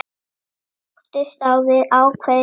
Áttund á við ákveðið tónbil.